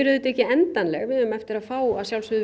auðvitað ekki endanleg við eigum eftir að fá